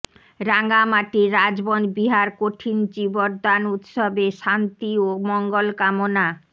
রাঙামাটির রাজবন বিহার কঠিন চীবরদান উৎসবে শান্তি ও মঙ্গল কামনা